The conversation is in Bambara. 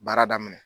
Baara daminɛ